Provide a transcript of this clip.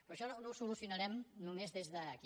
però això no ho solucionarem només des d’aquí